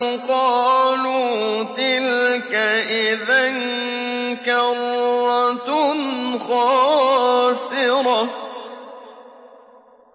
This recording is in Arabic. قَالُوا تِلْكَ إِذًا كَرَّةٌ خَاسِرَةٌ